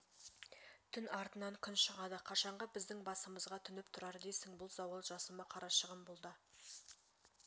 түн артынан күн шығады қашанғы біздің басымызға төніп тұрар дейсің бұл зауал жасыма қарашығым бұл да